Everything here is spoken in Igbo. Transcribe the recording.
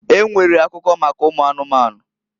E nwere akuko maka ụmụ anụmanụ.